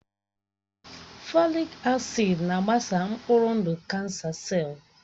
Fòlị́k acị́d na-agbasa mkpụrụ ndụ kánsà sellù